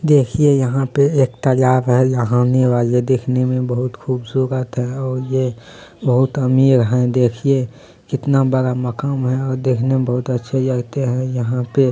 देखिए यहाँ पे एक तलाब है वाले देखने में बहुत खूबसूरत है और यह बहुत अमीर है देखिए कितना बड़ा है और देखने में बहुत अच्छे लगते है यहाँ पे --